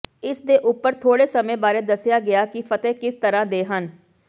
ਇਸਦੇ ਉੱਪਰ ਥੋੜੇ ਸਮੇਂ ਬਾਰੇ ਦੱਸਿਆ ਗਿਆ ਕਿ ਫਤਿਹ ਕਿਸ ਤਰ੍ਹਾਂ ਦੇ ਹਨ